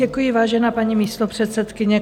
Děkuji, vážená paní místopředsedkyně.